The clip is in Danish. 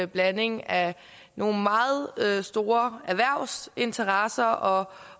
blanding af nogle meget store erhvervsinteresser og